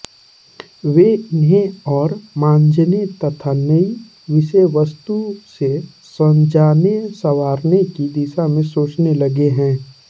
वे इन्हें और मांजने तथा नयी विषयवस्तु से सजानेसंवारने की दिशा में सोचने लगे हैं